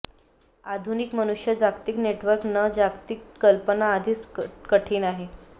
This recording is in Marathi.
आधुनिक मनुष्य जागतिक नेटवर्क न जागतिक कल्पना आधीच कठीण आहे